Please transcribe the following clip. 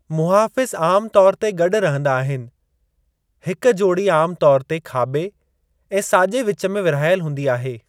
मुहाफ़िज़ आम तौरु ते गॾु रहंदा आहिनि। हिक जोड़ी आम तौरु ते खाॿे ऐं साॼे विचु में विर्हाइल हूंदी आहे।